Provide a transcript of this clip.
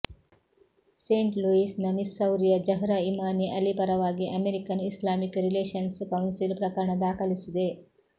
Saint Louis ನ ಮಿಸ್ಸೌರಿಯ Zahra Imani Ali ಪರವಾಗಿ ಅಮೆರಿಕನ್ ಇಸ್ಲಾಮಿಕ್ ರಿಲೇಶನ್ಸ್ ಕೌನ್ಸಿಲ್ ಪ್ರಕರಣ ದಾಖಲಿಸಿದೆ